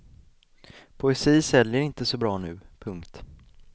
Poesi säljer inte så bra nu. punkt